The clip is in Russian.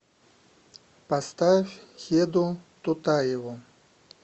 поставь хеду тутаеву